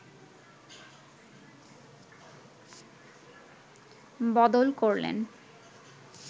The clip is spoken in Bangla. বদল করলেন